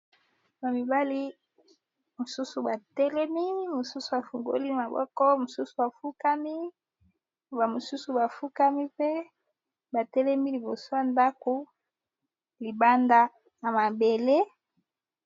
Ba mibali mosusu batelemi mosusu afungoli maboko, mosusu bafukami ba misusu bafukami mpe batelemi liboso ya ndako libanda na mabele.